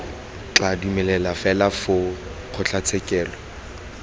tla dumelelwa fela foo kgotlatshekelo